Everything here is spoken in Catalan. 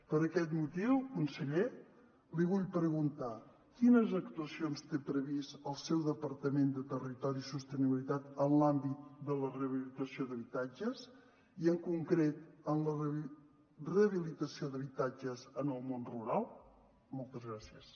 per aquest motiu conseller li vull preguntar quines actuacions té previstes el seu departament de territori i sostenibilitat en l’àmbit de la rehabilitació d’habitatges i en concret en la rehabilitació d’habitatges en el món rural moltes gràcies